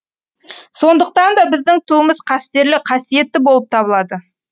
сондықтан да біздің туымыз қастерлі қасиетті болып табылады